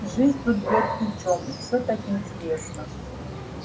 жизнь тут бьёт ключом и всё так интересно